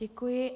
Děkuji.